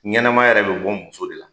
Ɲanamaya yɛrɛ be bɔ muso de la.